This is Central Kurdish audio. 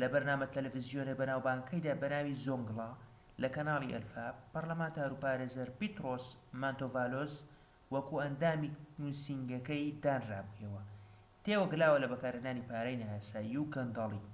لە بەرنامە تەلەڤیزۆنیە بەناوبانگەکەیدا بەناوی زۆنگلا لە کەنالی ئەلفا پەرلەمانتار و پارێزەر پێترۆس مانتۆڤالۆس وەکو ئەندامی نوسینگەکەی دانرابوویەوە تێوەگلاوە لە بەکارهێنانی پارەی نایاسایی و گەندەڵی